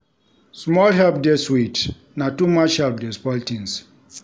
Small help dey sweet na too much help dey spoil tins.